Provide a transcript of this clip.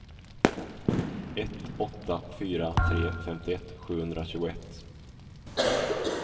ett åtta fyra tre femtioett sjuhundratjugoett